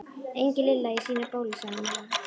Engin Lilla í sínu bóli, sagði hann með ekka.